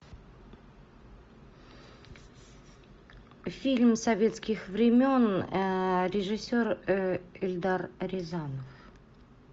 фильм советских времен режиссер эльдар рязанов